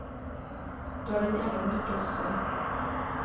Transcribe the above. Du er din egen lykkes smed.